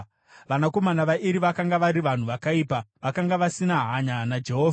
Vanakomana vaEri vakanga vari vanhu vakaipa; vakanga vasina hanya naJehovha.